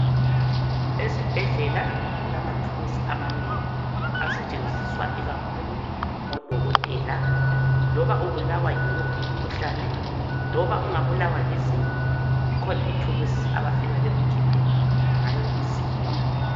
eSibhedlela kulamathuluzi amanengi asetshenziswa ikakhulu ngoDokotela ,loba ubulawa yiwuphi umkhuhlane, loba ungabulawa lizinyo kukhona ithuluzi abafika bekukhiphe ngayo izinyo